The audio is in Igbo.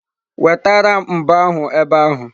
Wetara m mbo ahu ebe ahu!